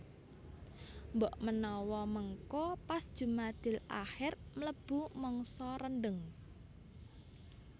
Mbok menawa mengko pas jumadilakhir mlebu mangsa rendheng